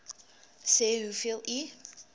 sê hoeveel u